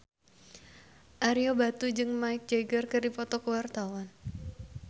Ario Batu jeung Mick Jagger keur dipoto ku wartawan